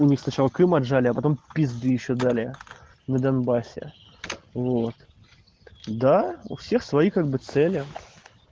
у них сначала крым отжали а потом пизды ещё дали на донбассе вот да у всех свои как бы цели